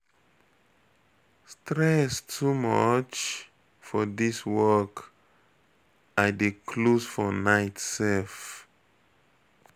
Stress too much for dis my work. I dey close for night sef.